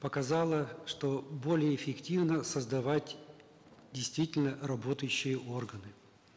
показала что более эффективно создавать действительно работающие органы